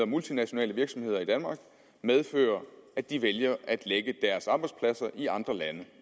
multinationale virksomheder i danmark medføre at de vælger at lægge deres arbejdspladser i andre lande